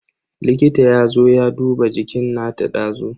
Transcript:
Likita yazo ya duba jikin nata dazu.